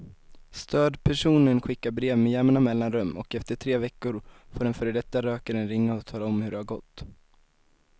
Stödpersonen skickar brev med jämna mellanrum och efter tre veckor får den före detta rökaren ringa och tala om hur det gått.